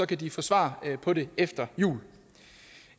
kan de få svar på det efter jul